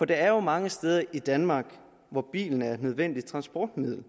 der er jo mange steder i danmark hvor bilen er et nødvendigt transportmiddel